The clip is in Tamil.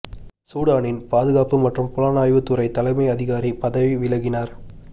சூடானின் பாதுகாப்பு மற்றும் புலனாய்வு துறை தலைமை அதிகாரி பதவி விலகினார்